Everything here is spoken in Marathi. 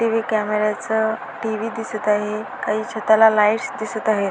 हे कॅमेऱ्या च टी.व्ही दिसत आहे काही छताला लाइट्स दिसत आहे.